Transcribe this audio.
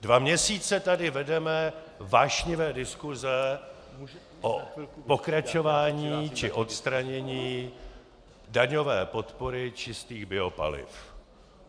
Dva měsíce tady vedeme vášnivé diskuse o pokračování či odstranění daňové podpory čistých biopaliv.